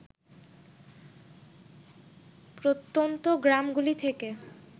প্রত্যন্ত গ্রামগুলি থেকে